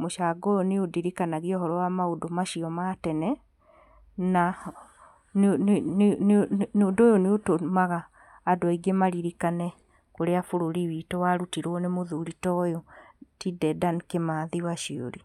mũcango ũyũ nĩ ũndirikanagia ũhoro wa maũndũ macio ma tene, na nĩ nĩ nĩ ũndũ ũyũ nĩũtũmaga andũ aingĩ maririkane ũrĩa bũrũri witũ warutirwo nĩ muthuri ta ti Dedan Kĩmathi waciuri.